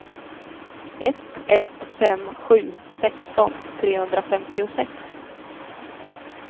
ett ett fem sju sexton trehundrafemtiosex